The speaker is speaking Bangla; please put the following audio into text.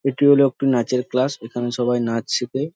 এইটি হলো একটি নাচের ক্লাস এইখানে সবাই নাচ শেখে।